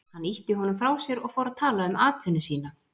Hann ýtti honum frá sér og fór að tala um atvinnu sína.